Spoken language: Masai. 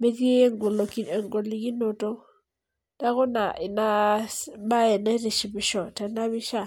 metii egolikinoto. neeku Ina bae naitishipisho tena pisha.